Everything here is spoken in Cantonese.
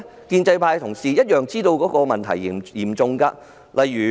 建制派同事同樣知道問題嚴重。